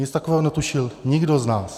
Nic takového netušil nikdo z nás.